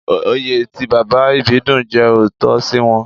Oyè tí Bàbá Ìbídùn jẹ ò tọ́ sí wọn